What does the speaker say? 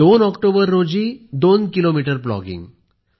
दोन ऑक्टोबर रोजी दोन किलोमीटर प्लॉगिंग